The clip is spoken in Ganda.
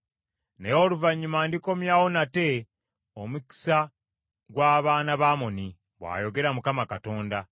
“Naye oluvannyuma ndikomyawo nate omukisa gy’abaana ba Amoni,” bw’ayogera Mukama Katonda.